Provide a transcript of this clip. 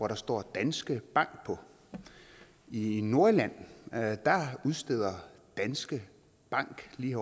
der står danske bank på i nordirland udsteder danske bank lige